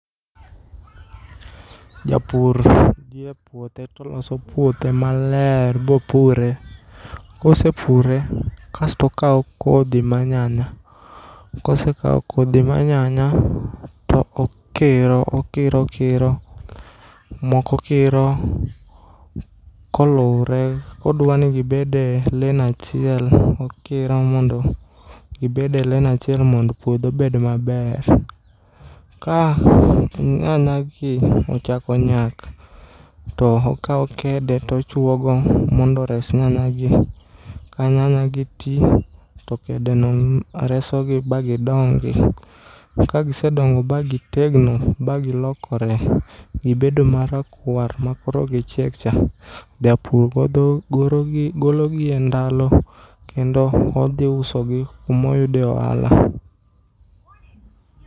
Japur nie puothe toloso puothe maler bopure. Kose pure, kasto okawo kodhi ma nyanya. Kose kawo kodhi mar nyanya, to okiro okiro okiro . Moko okiro kolure kodwani gibede len achiel, okiro mondo gibede len achiel mondo puodho obed maber. Ka nyanya gi ochako nyak to okawo kede to ochwogo mondo ores nyanya gi. Ka nyanya gi ti, to kedeno reso gi ba gidongi. To kagisedongo ba gitegno ba gilokore, gibedo marakwar ma koro gichiek cha. Japur godho golo gologi e ndalo, kendo odhi usogi kumoyude ohala.